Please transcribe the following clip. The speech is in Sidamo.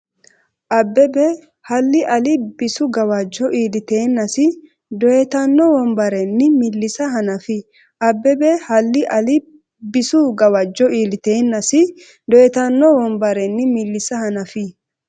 Abbebe hallii ali bisu gawajjo iilliteennasi doyitanno wombarenni millisa hanafi Abbebe hallii ali bisu gawajjo iilliteennasi doyitanno wombarenni millisa hanafi.